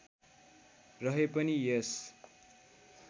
रहे पनि यस